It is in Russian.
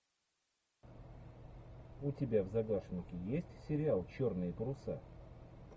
у тебя в загашнике есть сериал черные паруса